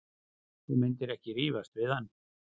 Þú myndir ekki rífast við hann.